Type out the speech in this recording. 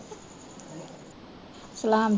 ਸਲਾਮ ਜੀ